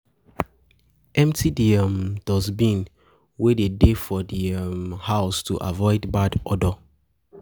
um Empty di um dustbin wey de dey for di um house to avoid bad odor